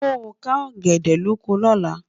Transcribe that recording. ló ká ògèdè lọkọ lọ̀lá